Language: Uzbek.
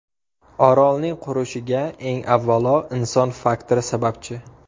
Orolning qurishiga, eng avvalo, inson faktori sababchi.